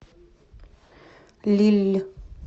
лилль